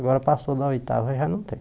Agora passou da oitava já não tem.